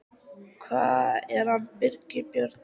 Hvað er með hann Birgi Björn?